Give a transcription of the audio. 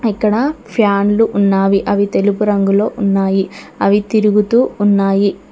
ఇక్కడ ఫ్యాన్లు ఉన్నావి అవి తెలుపు రంగులో ఉన్నాయి అవి తిరుగుతూ ఉన్నాయి.